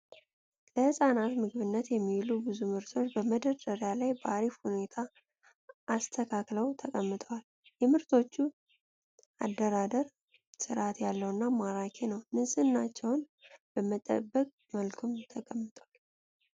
ለህጻናት ምግብነት የሚውሉ ብዙ ምርቶች በመደርደሪያ ላይ በአሪፍ ሁኔታ ተስተካክለው ተቀምጠዋል። የምርቶቹ አደራደር ስርአት ያለው እና ማራኪ ነው። ንጽህናቸውን በጠበቀ መልኩም ተቀምጠዋል።